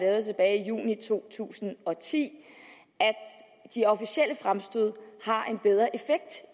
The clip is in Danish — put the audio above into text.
juni to tusind og ti at de officielle fremstød har